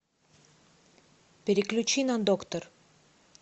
переключи на доктор